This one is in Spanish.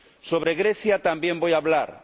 Sobre Grecia también voy a hablar.